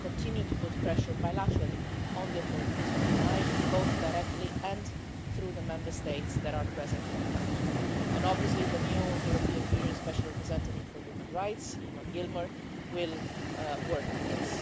continue to put pressure bilaterally on the authorities of Brunei, both directly and through the Member States that are present in the country, and obviously the new EU Special Representative for Human Rights, Eamon Gilmore, will work on this.